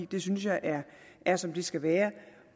det synes jeg er er som det skal være